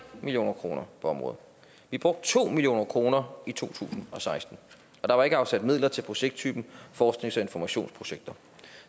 million kroner på området vi brugte to million kroner i to tusind og seksten og der var ikke afsat midler til projekttypen forsknings og informationsprojekter